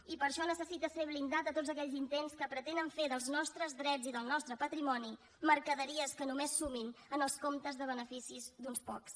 i per això necessita ser blindat de tots aquells intents que pretenen fer dels nostres drets i del nostre patrimoni mercaderies que només sumin en els comptes de beneficis d’uns pocs